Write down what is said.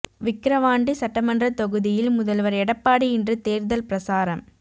விக்கிரவாண்டி சட்டமன்ற தொகுதியில் முதல்வர் எடப்பாடி இன்று தேர்தல் பிரசாரம்